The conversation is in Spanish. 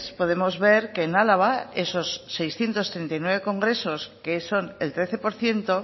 podemos ver que en álava esos seiscientos treinta y nueve congresos que son el trece por ciento